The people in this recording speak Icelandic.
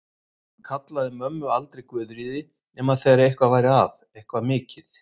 Hann kallaði mömmu aldrei Guðríði nema eitthvað væri að, eitthvað mikið.